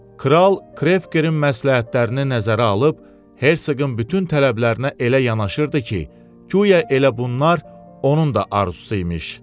Kral Krekerin məsləhətlərini nəzərə alıb Herseqin bütün tələblərinə elə yanaşırdı ki, guya elə bunlar onun da arzusu imiş.